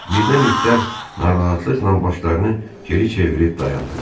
Birdən itlər narahatlıqla başlarını geri çevirib dayandılar.